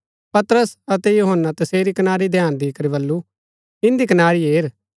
पतरस अतै यूहन्‍ना तसेरी कनारी ध्यान दी करी बल्लू इन्दी कनारी हेर